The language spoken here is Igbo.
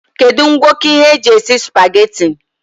Kedu ngwoko ihe ndi eji esi supageti?